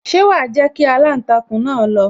Ṣé wa jẹ́ kí aláǹtakùn náà lọ